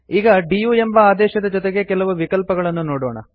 ಈಗ ಡಿಯು ಎಂಬ ಆದೇಶದ ಜೊತೆಗೆ ಕೆಲವು ವಿಕಲ್ಪಗಳನ್ನು ನೋಡೋಣ